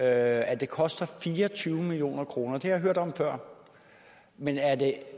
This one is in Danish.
at det koster fire og tyve million kroner det har jeg hørt om før men er det